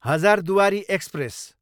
Hazarduari express